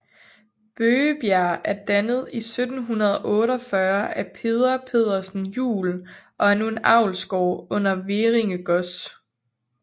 Bøgebjerg er dannet i 1748 af Peder Pedersen Juel og er nu en avlsgård under Hverringe Gods